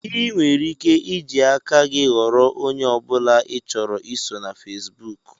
Ị nwere ike iji aka gị ghọrọ onye ọbụla ị chọrọ iso na Fesbụụk